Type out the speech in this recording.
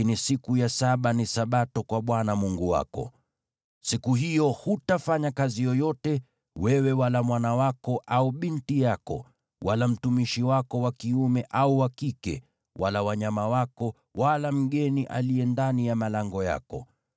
lakini siku ya saba ni Sabato kwa Bwana Mungu wako. Siku hiyo hutafanya kazi yoyote, wewe, wala mwanao au binti yako, wala mtumishi wako wa kiume au wa kike, wala wanyama wako, wala mgeni aliye ndani ya malango yako.